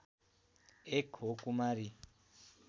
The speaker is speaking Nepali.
एक हो कुमारी